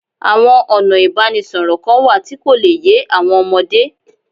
Àwọn ọ̀nà ìbánisọ̀rọ̀ kan wà tí kò le yé àwọn ọmọdé